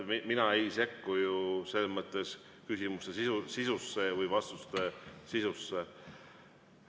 Mina ei sekku küsimuste või vastuste sisusse.